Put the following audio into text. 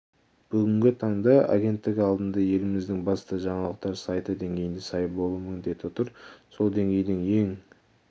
бүгінгі таңда агенттік алдында еліміздің басты жаңалықтар сайты деңгейіне сай болу міндеті тұр сол деңгейдің ең